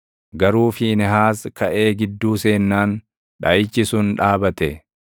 Garuu Fiinehaas kaʼee gidduu seennaan dhaʼichi sun dhaabate.